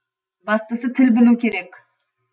бастысы тіл білу керек